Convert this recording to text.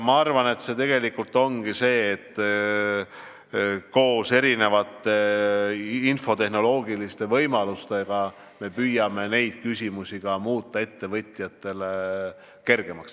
Ma arvan, et see ongi see, koos ka infotehnoloogiliste võimaluste kasutamisega me püüame neid asju muuta ettevõtjatele kergemaks.